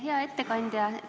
Hea ettekandja!